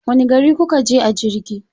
Wani gari kuka je a jirgi?